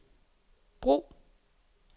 brug